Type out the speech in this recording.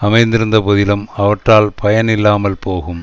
அமைதிருந்த போதிலும் அவற்றால் பயன் இல்லாமல் போகும்